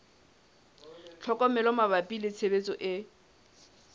tlhokomelo mabapi le tshebediso e